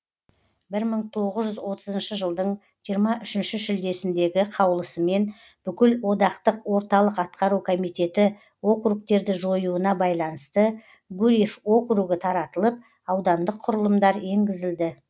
мың тоғыз жүз отызыншы жылдың жиырма үшінші шілдесіндегі қаулысымен бүкіл одақтық орталық атқару комитеті округтерді жоюына байланысты гурьев округі таратылып аудандық құрылымдар енгізілді